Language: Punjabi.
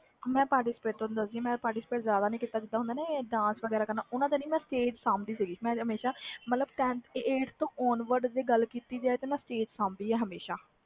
ਮੈਂ participate ਤੋਂ ਨਹੀਂ ਡਾਰ ਦੀ ਜਿਵੇ participate dance ਵਗੈਰਾ ਕਰਨਾ ਹੁੰਦਾ ਆ ਮੈਂ eighth on word ਤੋਂ ਗੱਲ ਕੀਤੀ ਤਾ ਮੈਂ ਹਮੇਸ਼ਾ stage ਹੀ ਸਾਬ ਦੀ ਸੀ